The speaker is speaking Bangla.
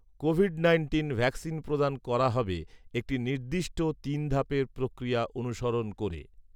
কোভিড নাইন্টিন ভ্যাকসিন প্রদান করা হবে একটি নির্দিষ্ট তিন ধাপের প্রক্রিয়া অনুসরণ করে